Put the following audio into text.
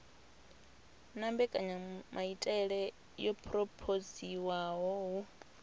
na mbekanyamaitele yo phurophoziwaho hu